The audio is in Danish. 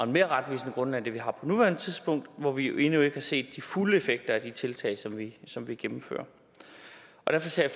mere retvisende grundlag end det vi har på nuværende tidspunkt hvor vi jo endnu ikke har set de fulde effekter af de tiltag som vi som vi gennemfører og derfor ser